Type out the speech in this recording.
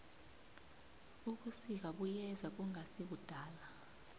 ubusika buyeza kungasikudala